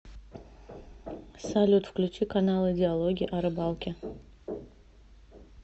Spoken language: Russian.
салют включи каналы диалоги о рыбалке